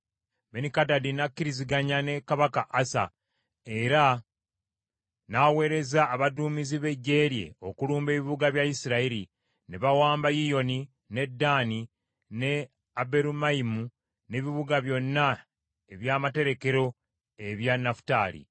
Benikadadi n’akkiriziganya ne kabaka Asa, era n’aweereza abaduumizi b’eggye lye okulumba ebibuga bya Isirayiri; ne bawamba Yiyoni, ne Ddaani ne Aberumayimu, n’ebibuga byonna eby’amaterekero ebya Nafutaali.